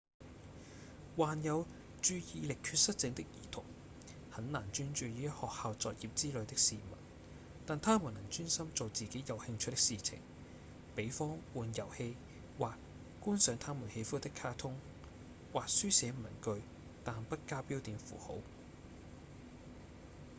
患有注意力缺失症的兒童很難專注於學校作業之類的事物但他們能專心做自己有興趣的事情比方玩遊戲或觀賞他們喜歡的卡通或書寫文句但不加標點符號